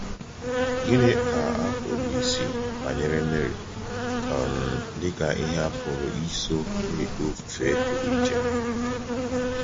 Gịnị ka a pụrụ ịsị banyere Meri um dịka ihe a pụrụ iso na-ekpe ofufe pụrụ iche?